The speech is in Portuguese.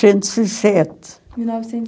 e sete. Mil novecentos e